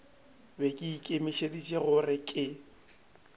be ke ikemišeditše gore ke